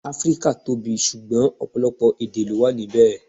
Áfríkà tóbi, sugbọn ọ̀pọ̀lọpọ̀ èdè lọ wà níbè.